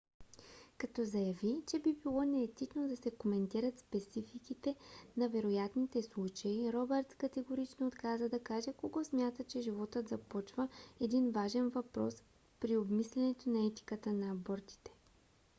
като заяви че би било неетично да се коментират спецификите на вероятните случаи робъртс категорично отказа да каже кога смята че животът започва един важен въпрос при обмислянето на етиката на абортите